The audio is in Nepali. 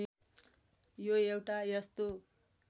यो एउटा यस्तो